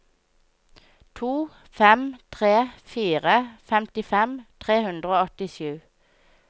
to fem tre fire femtifem tre hundre og åttisju